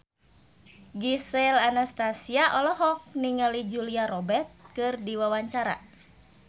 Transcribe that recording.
Gisel Anastasia olohok ningali Julia Robert keur diwawancara